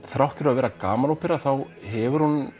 þrátt fyrir að vera gamanópera þá hefur hún